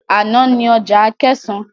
Ana ni ọjà Akẹ̀sán.